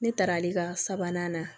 Ne taara ale ka sabanan na